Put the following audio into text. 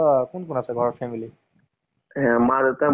কিন্তু story টো ভাল আছে। তেতিয়া হলে movies টো চাই ভাল লাগে।